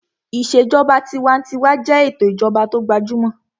Ìṣèjọba tinwatinwa jẹ́ ètò ìjọba tó gbajúmọ̀